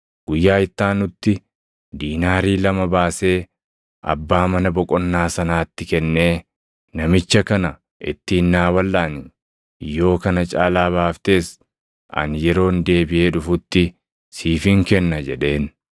Guyyaa itti aanutti diinaarii lama baasee abbaa mana boqonnaa sanaatti kennee, ‘Namicha kana ittiin naa walʼaani; yoo kana caalaa baaftes ani yeroon deebiʼee dhufutti siifin kenna’ jedheen.